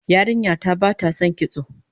Yarinya ta bata son kitso